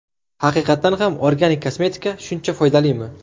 Haqiqatan ham organik kosmetika shuncha foydalimi?